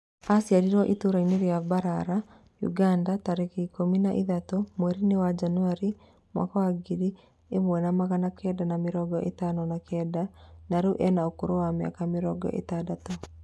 Aciarĩirwo itũũra-inĩ rĩa Mbarara, Uganda tarĩki ikũmi na ithatũ mweri-inĩ wa januari mwaka wa ngiri ĩmwe na magana kenda ma mĩrongo ĩtano na kenda na rĩu ena ũkũrũ wa mĩaka mĩrongo itandatũ